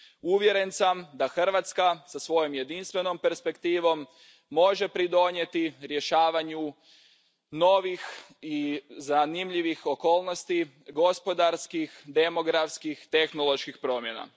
Uvjeren sam da Hrvatska sa svojom jedinstvenom perspektivom može pridonijeti rješavanju novih i zanimljivih okolnosti, gospodarskih, demografskih i tehnoloških promjena.